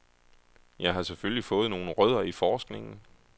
Jeg har selvfølgelig fået nogle rødder i forskningen.